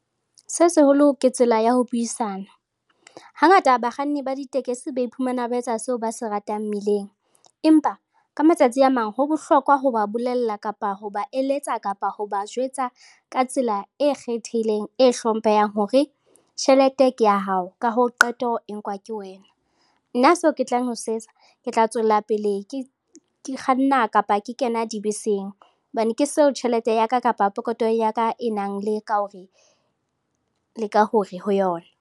Se seholo ke tsela ya ho buisana. Hangata bakganni ba ditekesi ba iphumana ba etsa seo ba se ratang mmileng empa ka matsatsi a mang ho bohlokwa ho ba bolella kapa ho ba eletsa kapa ho ba jwetsa ka tsela e kgethehileng, e hlomphehang hore tjhelete ke ya hao ka hoo qeto e nkuwa ke wena. Nna seo ke tlang ho se etsa ke tla tswellapele ke kganna kapa ke kena dibeseng hobane ke seo tjhelete ya ka kapa pokotho ya ka e nang le ka hore le ka hore ho yona.